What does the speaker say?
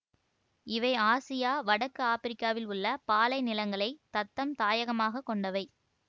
இவை ஆசியா வடக்கு ஆப்பிரிக்காவில் உள்ள பாலைநிலங்களைத் தத்தம் தாயகமாக கொண்டவை